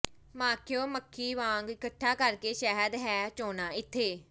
ਮਾਖਿਓਂ ਮੱਖੀ ਵਾਂਗ ਇਕੱਠਾ ਕਰ ਕੇ ਸ਼ਹਿਦ ਹੈ ਚੋਣਾ ਇਥੇ